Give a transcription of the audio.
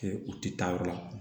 Kɛ u tɛ taa yɔrɔ la